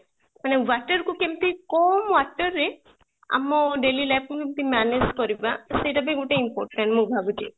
ମାନେ water କୁ କେମିତି କମ water ରେ ଆମ daily life କୁ କେମିତି manage କରିବା ତ ସେଇଟା ବି ଗୋଟେ important ମୁଁ ଭାବୁଛି